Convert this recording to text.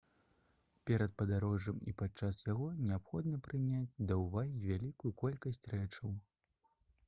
перад падарожжам і падчас яго неабходна прыняць да ўвагі вялікую колькасць рэчаў